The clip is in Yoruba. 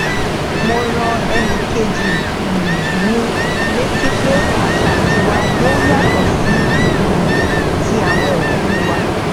mo rán ẹnì kejì um mi létí pé àṣà tiwa yoo yato si um ti awon obi wa